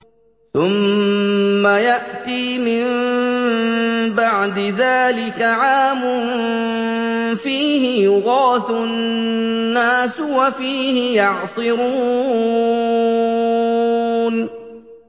ثُمَّ يَأْتِي مِن بَعْدِ ذَٰلِكَ عَامٌ فِيهِ يُغَاثُ النَّاسُ وَفِيهِ يَعْصِرُونَ